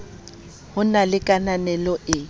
ho na le kananelo e